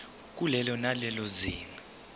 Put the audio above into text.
kulelo nalelo zinga